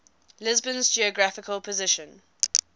lisbon's geographical position